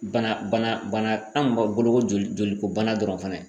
Bana bana bana tan b'a bolo ko joli joliko bana dɔrɔn fɛnɛ